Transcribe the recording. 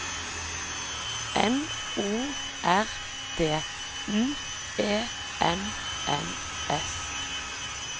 N O R D M E N N S